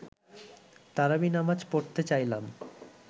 তারাবি নামাজ পড়তে চাইলাম